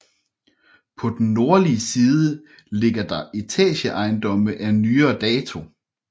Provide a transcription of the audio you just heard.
På den nordlige side ligger der etageejendomme af nyere dato